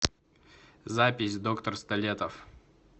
запись доктор столетов